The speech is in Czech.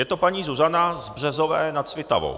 Je to paní Zuzana z Březové nad Svitavou.